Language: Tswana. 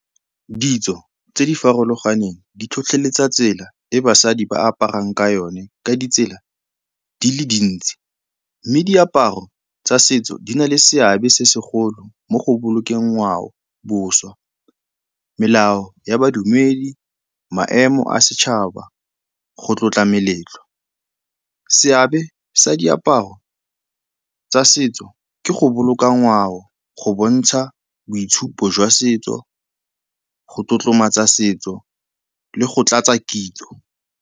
Ditso tse di farologaneng di tlhotlheletsa tsela e basadi ba aparang ka yone ka ditsela di le dintsi mme diaparo tsa setso di na le seabe se segolo mo go bolokeng ngwao, boswa, melao ya badumedi, maemo a setšhaba, go tlotla meletlo. Seabe sa diaparo tsa setso ke go boloka ngwao, go bontsha boitshupo jwa setso, go tlotlomatsa setso le go tlatsa kitso.